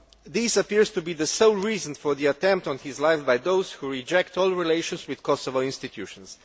This appears to be the sole reason for the attempt on his life by those who reject all relations with Kosovo institutions.